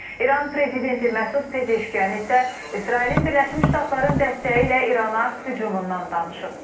İran prezidenti Məsud Pezeşkiyan isə İsrailin Birləşmiş Ştatların dəstəyi ilə İrana hücumundan danışıb.